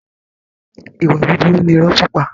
Ìwà burúkú ni irọ́ pípa.